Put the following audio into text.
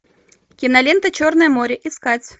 кинолента черное море искать